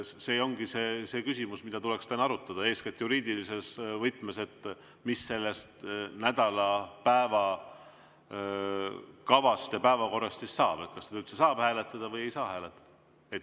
See ongi see küsimus, mida tuleks täna arutada, eeskätt juriidilises võtmes, et mis sellest nädala päevakavast ja päevakorrast siis saab, kas seda üldse saab hääletada või ei saa hääletada.